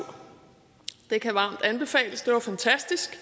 det kan varmt anbefales det var fantastisk